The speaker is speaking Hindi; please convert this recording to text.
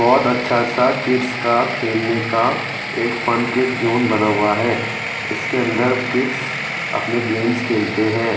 बहोत अच्छा सा किड्स का खेलने का एक फंकिट जोन बना हुआ है इसके अन्दर किड्स अपने गेम खेलते है।